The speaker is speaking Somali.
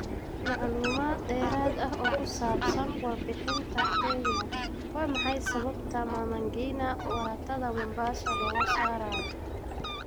Macluumaad dheeraad ah oo ku saabsan warbixintan Kenya: Waa maxay sababta Mama Ngina waratada Mombasa looga saarayo?